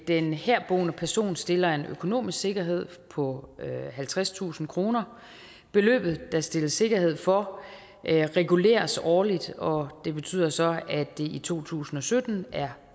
den herboende person stiller en økonomisk sikkerhed på halvtredstusind kroner beløbet der stilles sikkerhed for reguleres årligt og det betyder så at det i to tusind og sytten er